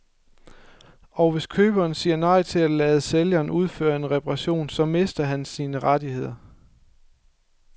Og hvis køberen sig nej til at lade sælgeren udføre en reparation, så mister han sine rettigheder.